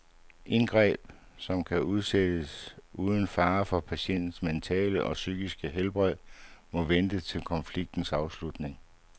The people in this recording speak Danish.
Indgreb, som kan udsættes uden fare for patientens mentale eller fysiske helbred, må vente til konfliktens afslutning.